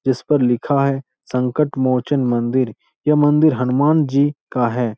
इस पर लिखा है संकटमोचन मंदिर यह मंदिर हनुमानजी का है।